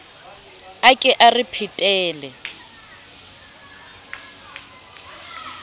a ke o re phetele